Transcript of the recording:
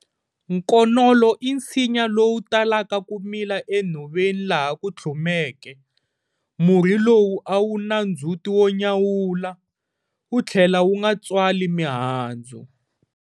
Nkonolo i nsinya lowu talaka ku mila enhoveni laha ku tlhumeke. Murhi lowu a wu na ndzhuti wo nyawula, wu tlhela wu nga tswali mihandzu.